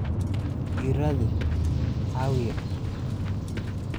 I raadi awwiye.